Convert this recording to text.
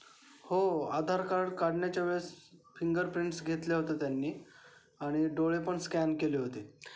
हो आधार कार्ड काढण्याच्या वेळेस फिंगर प्रिंट्स घेतले होते त्यांनी आणि डोळे पण स्कॅन केले होते.